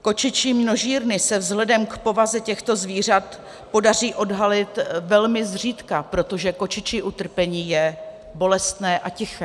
Kočičí množírny se vzhledem k povaze těchto zvířat podaří odhalit velmi zřídka, protože kočičí utrpení je bolestné a tiché.